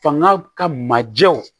Fanga ka majew